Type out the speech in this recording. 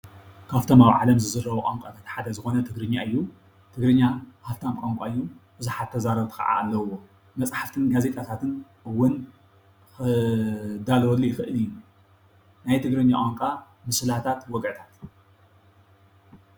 ካብቶም አብ ዓለም ዝዝረቡ ቋንቋታት ሓደ ዝኾነ ትግርኛ እዩ፡፡ ትግርኛ ሃፍታም ቋንቋ እዩ፡፡ ብዙሓት ተዛረብቲ ካዓ አለዉዎ፡፡ መፅሓፍትን ጋዜጣታት እውን ክዳለወሉ ይኽእል እዩ፡፡ ናይ ትግርኛ ቋንቋ ምስላታት፣ ወግዒታት....